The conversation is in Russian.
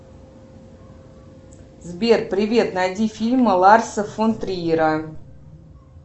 сбер привет найди фильмы ларса фон триера